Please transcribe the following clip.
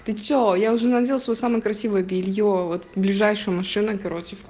ты что я уже надела своё самое красивое белье вот ближайшую машина кароче